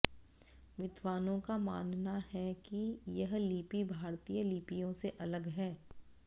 विद्वानों का मानना है कि यह लिपि भारतीय लिपियों से अलग है